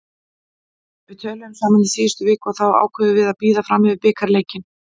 Við töluðum saman í síðustu viku og þá ákváðum við að bíða fram yfir bikarleikinn.